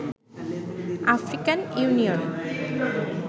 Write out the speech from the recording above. African union